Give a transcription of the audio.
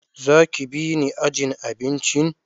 Za ki bi ni ajin abincin?